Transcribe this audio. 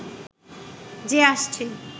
যে আসছে